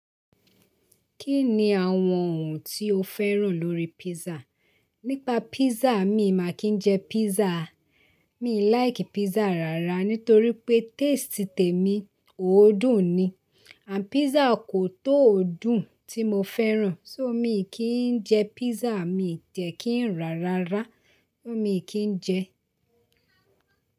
Kí ni àwọn ohun tí o féràn lórí pizza? Nípa pizza, mi ò máa kí ń jẹ pizza. Mí like pizza rárá nítorí pé taste tèmi òó dùn ni. And pizza kò tó òdùn tí mo féràn so mí kì ń jẹ pizza, mi jẹ kì ń rà rárá, mí kì ń jẹ.